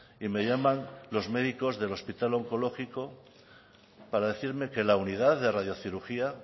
y me llaman los médicos del hospital onkologiko para decirme que la unidad de radiocirugía